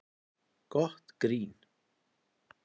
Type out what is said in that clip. Gott grín